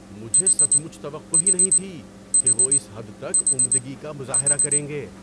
مجھے سچ مچ توقع ہی نہیں تھی کہ وہ اس حد تک عمدگی کا مظاہرہ کریں گے۔